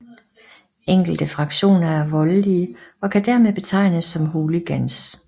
Enkelte fraktioner er voldelige og kan dermed betegnes som hooligans